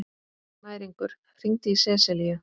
Snæringur, hringdu í Seselíu.